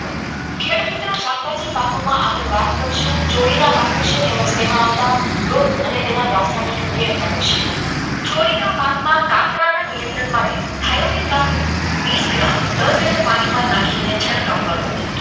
આગળ વાત કરીશું પાઠ વિશે તેમ જ તેમાં આવતા રોગ અને રાસાયણિક નિયંત્રણ વિશે ક્લોરીના પાકમાં નિયંત્રણ માટે આયોડિન કાર્બન દસ લિટર પાણીમાં નાખીને છંટકાવ કરવો